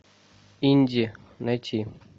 инди найти